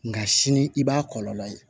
Nka sini i b'a kɔlɔlɔ ye